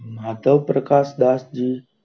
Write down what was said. મતાઓપ્રકાશ Dash જી,